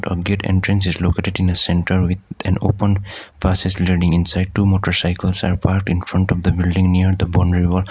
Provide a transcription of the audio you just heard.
a gate entrance is located in a centre with an open inside two motorcycles are parked in front of the building near the boundary wall.